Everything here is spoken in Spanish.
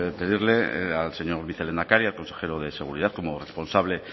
pedirle al señor vicelehendakari al consejero de seguridad como responsable